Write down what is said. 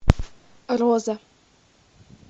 роза